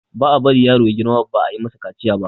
ba a bari yaro ya girma ba ayi masa kaciya ba